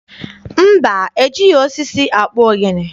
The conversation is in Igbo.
Mba, ejighị osisi akpụ ogene.